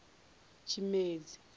tshimedzi